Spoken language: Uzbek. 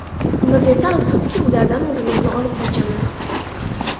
Biz esa, afsuski, ulardan o‘zimizni olib qochamiz.